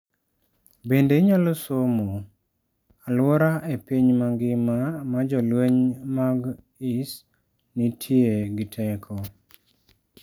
Bende inyalo somo: Alwora e piny mangima ma jolweny mag Is nitie gi teko?